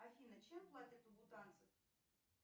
афина чем платят у бутанцев